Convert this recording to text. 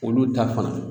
Olu ta fan